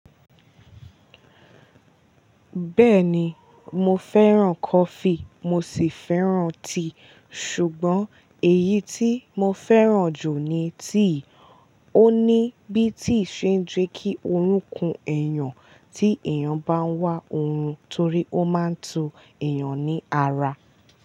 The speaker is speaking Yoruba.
Bẹ́ẹ̀ni, mo fẹ́ràn coffee mo sì fẹ́ràn tea, ṣùgbọ́n èyí tí mo fẹ́ràn jù ni tea. Ó ní bí tea ṣe ń jẹ́ kí orúnkún ẹ̀yàn tí èèyàn bá ń wá orun torí ó máa ń tu èèyàn ní ara.